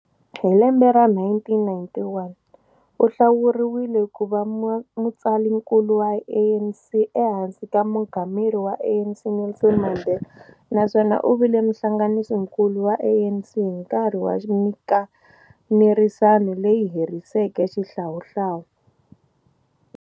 Hi lembe ra 1991, u hlawuriwile ku va mutsalaninkulu wa ANC ehansi ka mungameri wa ANC Nelson Mandela naswona u vile muhlanganisinkulu wa ANC hi nkarhi wa minkanerisano leyi heriseke xihlawuhlawu.